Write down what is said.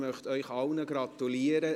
Ich möchte Ihnen allen gratulieren.